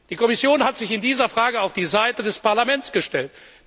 Die Kommission hat sich in dieser Frage auf die Seite des Parlaments gestellt.